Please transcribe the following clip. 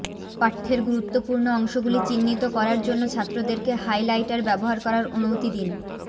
পাঠ্যের গুরুত্বপূর্ণ অংশগুলি চিহ্নিত করার জন্য ছাত্রদেরকে হাইলাইটার ব্যবহার করার অনুমতি দিন